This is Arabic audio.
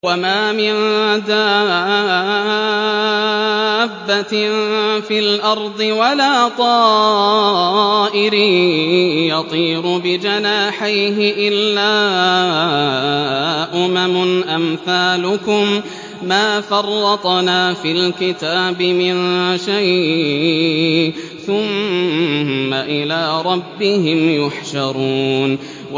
وَمَا مِن دَابَّةٍ فِي الْأَرْضِ وَلَا طَائِرٍ يَطِيرُ بِجَنَاحَيْهِ إِلَّا أُمَمٌ أَمْثَالُكُم ۚ مَّا فَرَّطْنَا فِي الْكِتَابِ مِن شَيْءٍ ۚ ثُمَّ إِلَىٰ رَبِّهِمْ يُحْشَرُونَ